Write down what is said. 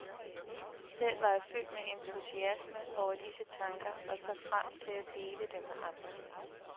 Selv var jeg fyldt med entusiasme over disse tanker og så frem til at dele dem med andre.